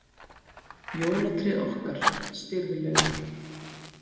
Jólatréð okkar, stirðlegur